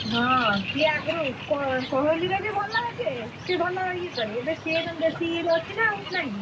ହଁ ସିଏ ଆଗରୁ କୋହ~ କୋହଲିର ବି ଭଲ ଯେ ସେ ଭଲ ଇଏ କରେ ଏବେ ସିଏ ଏବେ ବେଶିରେ ଅଛି ନା ନାଇ କି?